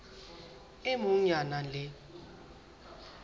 e mong ya nang le